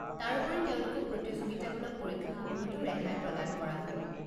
তাৰোপৰি, তেওঁলোকক প্ৰতিযোগিতামূলক পৰীক্ষাসমূহতো ৰেহাই প্ৰদান কৰা হয়।